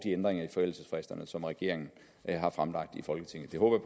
ændringer i forældelsesfristerne som regeringen har fremlagt i folketinget det håber